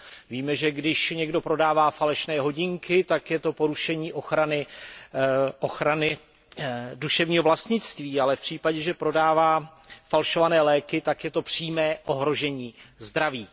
Víme, že když někdo prodává falešné hodinky, tak je to porušení ochrany duševního vlastnictví, ale v případě, že prodává falšované léky, tak je to přímé ohrožení zdraví.